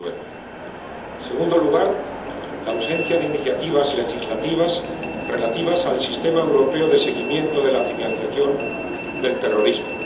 2009. En segundo lugar, la ausencia de iniciativas legislativas relativas al sistema europeo de seguimiento de la financiación del terrorismo.